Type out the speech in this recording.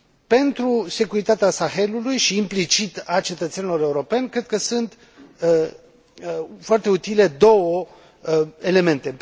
Pentru securitatea Sahelului și, implicit, a cetățenilor europeni, cred că sunt foarte utile două elemente.